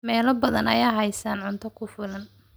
Meelo badan ayaan haysan cunto ku filan.